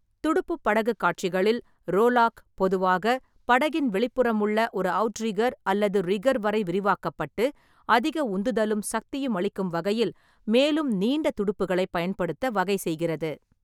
துடுப்புப் படகுக் காட்சிகளில், ரோலாக் பொதுவாக படகின் வெளிப்புறமுள்ள ஒரு அவுட்ரிக்கர் அல்லது ரிக்கர் வரை விரிவாக்கப்பட்டு அதிக உந்துதலும் சக்தியும் அளிக்கும் வகையில் மேலும் நீண்ட துடுப்புகளைப் பயன்படுத்த வகைசெய்கிறது.